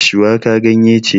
Shuwaka ganye ce